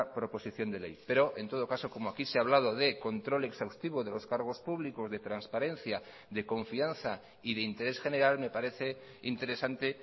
proposición de ley pero en todo caso como aquí se ha hablado de control exhaustivo de los cargos públicos de transparencia de confianza y de interés general me parece interesante